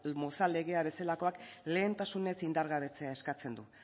mozal legea bezalakoak lehentasunez indargabetzea eskatzen du